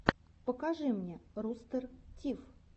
покажи мне рустер тиф